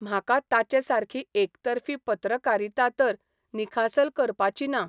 म्हाका ताचे सारकी एकतर्फी पत्रकारिता तर निखासल करपाची ना.